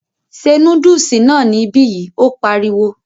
Se núdùsì náà ní ibi yi, ó pariwo